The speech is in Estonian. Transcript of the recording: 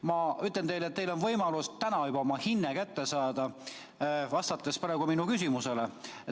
Ma ütlen teile, et minult on teil võimalus juba täna oma hinne kätte saada, kui vastate minu küsimusele.